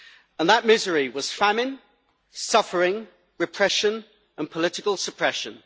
And that misery was famine, suffering, repression, and political suppression.